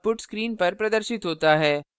output screen पर प्रदर्शित होता है